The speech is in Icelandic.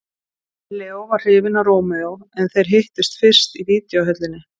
Leó var hrifinn af Rómeó en þeir hittust fyrist í videóhöllinni.